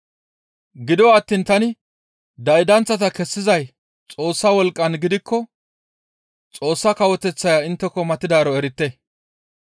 Gido attiin tani daydanththata kessizay Xoossa wolqqan gakkides; Xoossa Kawoteththay intteko matidaaro erite.